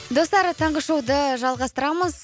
достар таңғы шоуды жалғастырамыз